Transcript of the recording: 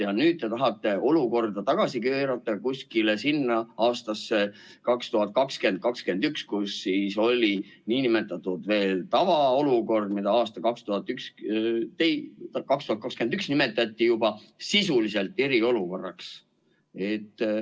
Ja nüüd te tahate olukorda tagasi keerata kuskile sinna aastasse 2021, kus oli nn tavaolukord, mida aastal 2021 nimetati sisuliselt eriolukorraks.